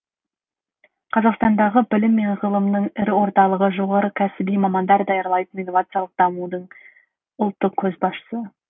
қазақстандағы білім мен ғылымның ірі орталығы жоғары кәсіби мамандар даярлайтын инновациялық дамуының ұлттық көшбасшысы